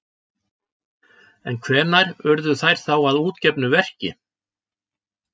En hvenær urðu þær þá að útgefnu verki?